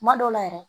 Kuma dɔw la yɛrɛ